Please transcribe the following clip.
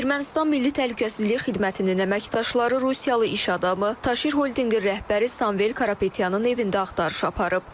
Ermənistan Milli Təhlükəsizlik Xidmətinin əməkdaşları rusiyalı iş adamı, Taşir Holdinqin rəhbəri Samvel Karapetyanın evində axtarış aparıb.